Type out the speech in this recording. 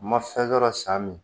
Ma fɛn yɔrɔ san min